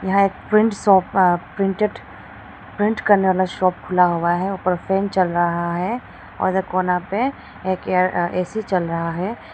यहाँ एक print shop अ प्रिंटेड प्रिंट करने वाला शॉप खुला हुआ है ऊपर फैन चल रहा है और एक कोना पे एक अ ए_सी चल रहा है।